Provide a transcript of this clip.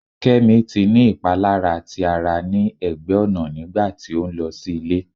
Kemi ti ni ipalara ti ara ni ẹgbẹ ọna nigba ti o nlọ si ile